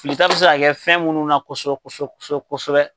filita bɛ se ka kɛ fɛn minnu na kosɛbɛ kosɛbɛ